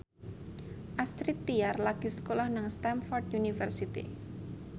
Astrid Tiar lagi sekolah nang Stamford University